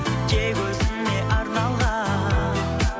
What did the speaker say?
тек өзіңе арналған